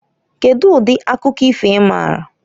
Kedu ụdị akụkọ ifo ịmaara?